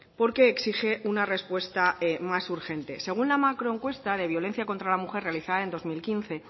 porque exige una respuesta más urgente según la macro encuesta de violencia contra la mujer realizada en dos mil quince